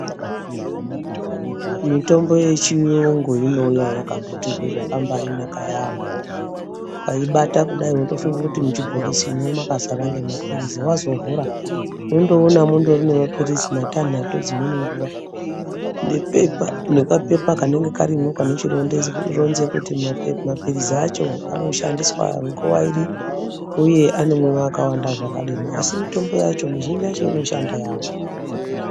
Mitombo yechiyungu inouya yakambaiputirwa zvakanaka yaambho ukaibata kudai unotofunga kuti kuchibokisi makazara ngemapirizi wazovhura unondoona mune mapirizi matanhatu dzimweni nguwa nekapepa kanenge karimwo kanochironze kuti mapirizi acho arikushandiswa nguwa iri uye anomwiwa akawanda zvakadini, asi mitombo yacho mizhinji yacho inoshanda yaambho.